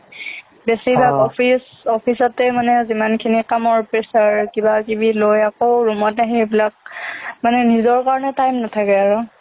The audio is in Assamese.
বেছিভাগ office office তেই মানে যিমানখিনি কামৰ pressure কিবাকিবি লৈ আকৌ room ত আহি এইবিলাক মানে নিজৰ কাৰণে time নেথাকে আৰু